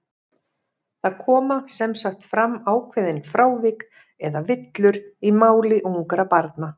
Það koma sem sagt fram ákveðin frávik, eða villur, í máli ungra barna.